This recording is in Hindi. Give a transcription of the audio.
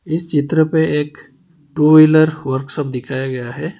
इस चित्र पे एक टू व्हीलर वर्कशॉप दिखाया गया है।